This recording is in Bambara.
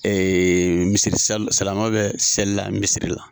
misi sal silaman bɛ selila misiri la